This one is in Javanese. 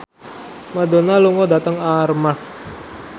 Madonna lunga dhateng Armargh